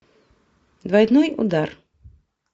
двойной удар